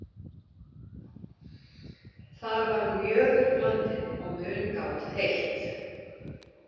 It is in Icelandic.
Þar var mjöður blandinn og mungát heitt.